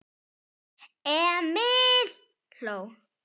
Emil hló.